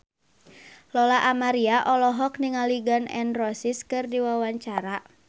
Lola Amaria olohok ningali Gun N Roses keur diwawancara